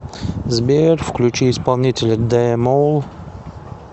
сбер включи исполнителя дэ мол